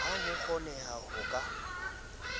ha ho kgonehe ho ka